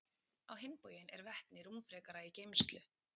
Á hinn bóginn er vetni rúmfrekara í geymslu.